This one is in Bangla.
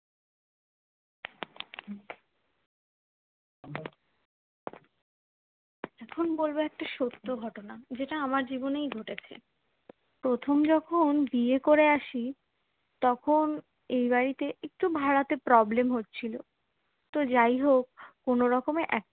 এখুন বলবো একটা সত্য ঘটনা যেটা আমার জীবনেই ঘটেছে প্রথম যখন বিয়ে করে আসি তখন এই বাড়িতে একটু ভাড়াতে problem হচ্ছিলো তো যাই হোক কোনোরকমে এক